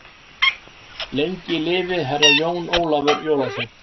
Lengi lifi Herra Jón Ólafur jólasveinn.